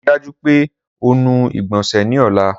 Rii daju pe o nu igbonse ni ọla!